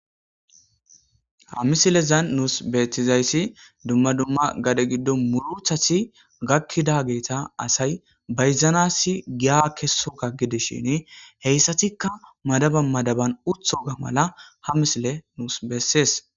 Ha misilezan nusi betizaysi duma duma gade giddon murutati gakidageta asay bayizanas giya kesoga gidishin heyssatika madaban madaban uttoga mala ha misile nusi besses.